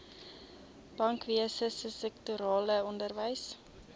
bankwese sektorale onderwys